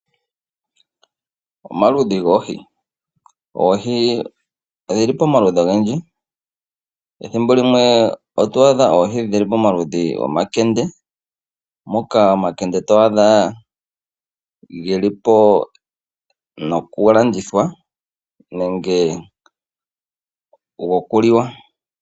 Omaludhi goohi, oohi odhili pamaludhi ogendji ethimbo limwe otwaadha oohi dhili pamaludhi gomankende moka omankende twaadha geli po gokulandithwa nenge gokuliwa.